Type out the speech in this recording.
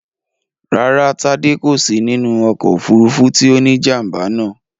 Rárá, Tádé kò sí nínú ọkọ̀ òfúrufú tí ó ní jàm̀bà náà